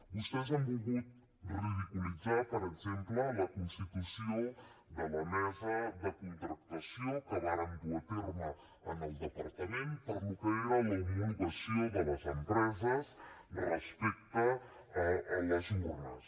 vostès han volgut ridiculitzar per exemple la constitució de la mesa de contractació que vàrem dur a terme en el departament per al que era l’homologació de les empreses respecte a les urnes